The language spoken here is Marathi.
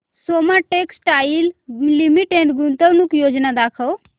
सोमा टेक्सटाइल लिमिटेड गुंतवणूक योजना दाखव